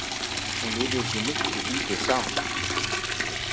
Hún yrði ekki neitt lítið sár.